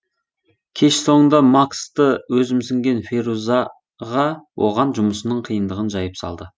кеш соңында максты өзімсінген ферузаға оған жұмысының қиындығын жайып салды